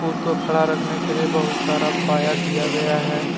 उसको खड़ा रखने के लिए बहुत सारा पाया दिया गया है।